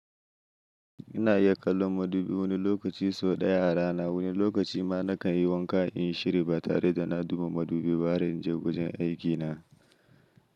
Ina iya kallon madubi wani lokaci sau ɗaya a rana, wani lokaci ma nakan yi wanka in yi shiri ba tare da na duba madubi ba har in je wajen aikina.